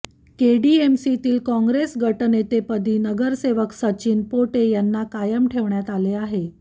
केडीएमसीतील काँग्रेस गटनेतेपदी नगरसेवक सचिन पोटे यांना कायम ठेवण्यात आले आहे